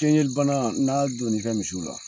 Teɲeli bana , n'a donn'i ka misiw la